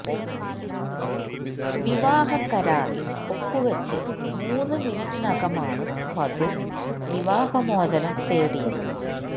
വിവാഹ കരാറില് ഒപ്പുവെച്ച് മൂന്ന് മിനിറ്റിനകമാണ് വധു വിവാഹമോചനം തേടിയത്